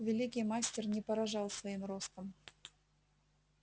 великий мастер не поражал своим ростом